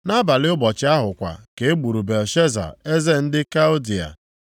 Nʼabalị ụbọchị ahụ kwa ka e gburu Belshaza eze ndị Kaldịa.